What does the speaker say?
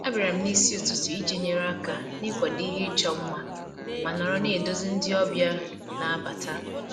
Abịara m n'isi ụtụtụ iji nyere aka n'ịkwado ihe ịchọ mma ma nọrọ na-eduzi ndị ọbịa na-abata